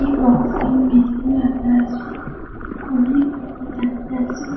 একটি boxing machine রাখা আছে | অনেক মেশিন দেখা যাচ্ছে ।